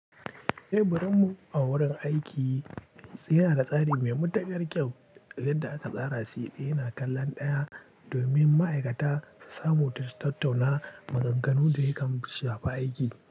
Eh, birin mu a wurin aiki yana da tsari mai matuƙar kyau. Inda aka tsara shi yana kallon ɗaya domin ma'aikata su samu tattauna maganganu da yakan shafa aiki.